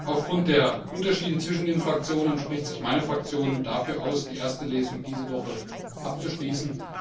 Aufgrund der Unterschiede zwischen den Fraktionen spricht sich meine Fraktion dafür aus, die erste Lesung diese Woche abzuschließen.